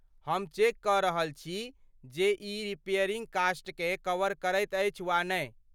हम चेक कऽ रहल छी जे ई रिपेयरिंग कॉस्टकेँ कवर करैत अछि वा नहि।